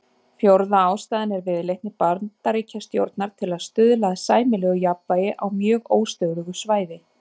Fjórða ástæðan er viðleitni Bandaríkjastjórnar til að stuðla að sæmilegu jafnvægi á mjög óstöðugu svæði.